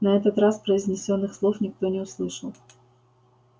на этот раз произнесённых слов никто не услышал